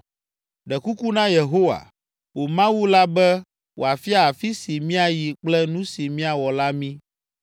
Ɖe kuku na Yehowa, wò Mawu la be wòafia afi si míayi kple nu si míawɔ la mí.”